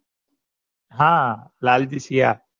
હા લાલજી સિયા